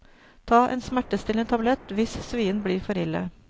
Ta en smertestillende tablett hvis svien blir for ille.